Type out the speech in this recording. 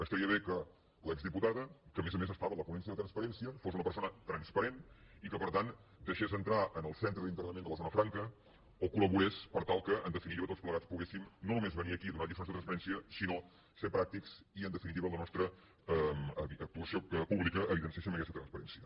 estaria bé que l’exdiputada que a més a més estava en la ponència de transparència fos una persona transparent i que per tant deixés entrar en el centre d’internament de la zona franca o col·laborés per tal que en definitiva tots plegats poguéssim no només venir a aquí i donar lliçons de transparència sinó ser pràctics i en definitiva en la nostra actuació pública evidenciéssim aquesta transparència